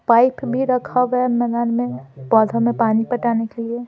Pipe भी रखा हुआ है मैदान में पौधों में पानी पटाने के लिए।